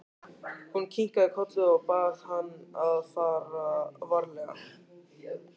Hún kinkaði kolli og bað hann að fara varlega.